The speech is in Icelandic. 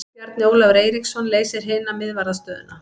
Bjarni Ólafur Eiríksson leysir hina miðvarðarstöðuna.